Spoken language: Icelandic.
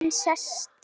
Hún sest.